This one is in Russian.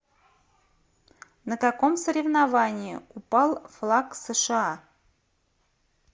на каком соревновании упал флаг сша